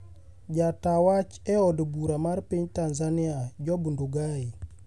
Jata wach eod bura mar piny Tanzania Job Ndugai